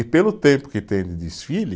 E pelo tempo que tem de desfile,